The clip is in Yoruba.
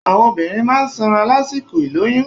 Àwọn obìnrin máa n sanra lásìkò ìlóyún